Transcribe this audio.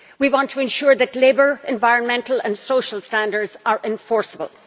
We want to ensure that labour, environmental and social standards are enforceable.